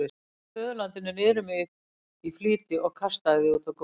Ég smeygði föðurlandinu niður um mig í flýti og kastaði því út á gólf.